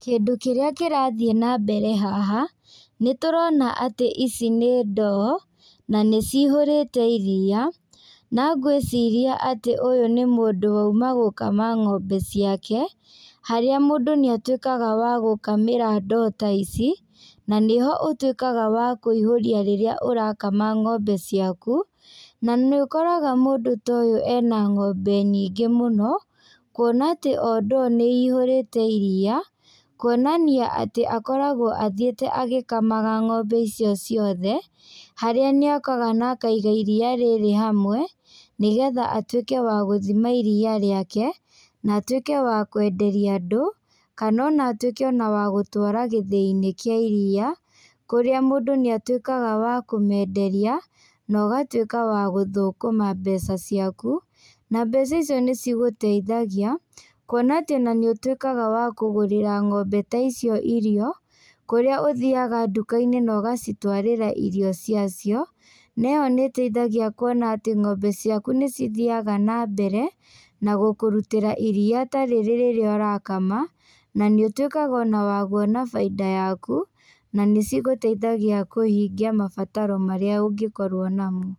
Kĩndũ kĩrĩa kĩrathiĩ na mbere haha, nĩtũrona atĩ ici nĩ ndoo, na nĩcihũrĩte iria, na ngwĩciria atĩ ũyũ nĩ mũndũ wauma gũkama ng'ombe ciake, harĩa mũndũ nĩatuĩkaga wa gũkamĩra ndoo ta ici, na nĩho ũtuĩkaga wa kũihũria rĩrĩa ũrakama ng'ombe ciaku, na nĩũkoraga mũndũ ta ũyũ ena ng'ombe nyingĩ mũno, kuona atĩ o ndoo nĩihũrĩte iria, kuonania atĩ akoragwo athiĩte agĩkamaga ng'ombe icio ciothe, harĩa nĩokaga na akaiga iria rĩrĩ hamwe, nĩgetha atuĩke wa gũthima iria rĩake, na atuĩke wa kwenderia andũ, kana ona atuĩke ona wa gũtwara gĩthĩinĩ kĩa iria, kũrĩa mũndũ nĩatuĩkaga wa kũmenderia, na ũgatuĩka wa gũthũkũma mbeca ciaku, na mbeca icio nĩcigũteithagia, kuona atĩ ona nĩũtuĩkaga wa kũgũrĩra ng'ombe ta icio irio, kũrĩa ũthiaga ndukainĩ na ũgacitwarĩra irio ciacio, na ĩyo nĩteithagia kuona atĩ ng'ombe ciaku nĩcithiaga nambere, na gũkũrutĩra iria ta rĩrĩ rĩrĩa ũrakama, na nĩũtuĩkaga ona wa kuona bainda yaku, na cigũteithagia kũhingia mabataro marĩa ũngĩkorwo namo.